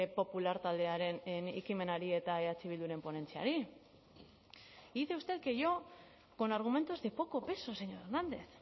popular taldearen ekimenari eta eh bilduren ponentziari dice usted que yo con argumentos de poco peso señor hernández